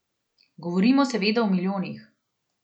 Govorimo seveda o milijonih.